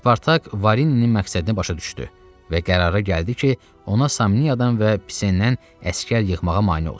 Spartak Varininin məqsədini başa düşdü və qərara gəldi ki, ona Samniyadan və Pisenədən əsgər yığmağa mane olsun.